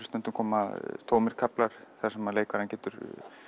stundum koma tómir kaflar þar sem leikarinn getur